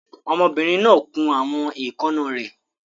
Ọmọbìnrin náà kun àwọn èékánná rẹ̀.